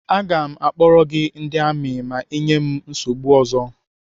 Aga m akpọrọ gị ndị amị ma ị nyee m nsogbu ọzọ.